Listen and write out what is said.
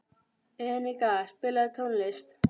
Enika, spilaðu tónlist.